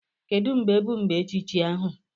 Kedu mgbe bụ mgbe echichi ahu?